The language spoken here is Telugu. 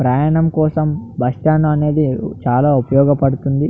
ప్రయాణం కోసం బస్సు స్టాండ్ అనేది చాలా ఉపయోగ పడుతుంది.